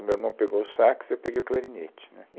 O meu irmão pegou o sax, eu peguei o clarinete, né